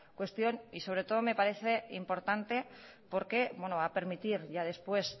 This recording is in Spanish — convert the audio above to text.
cuestión y sobre todo me parece importante porque va a permitir ya después